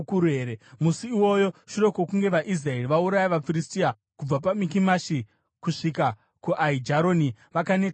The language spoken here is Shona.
Musi iwoyo, shure kwokunge vaIsraeri vauraya vaFiristia kubva paMikimashi kusvika kuAijaroni, vakaneta kwazvo.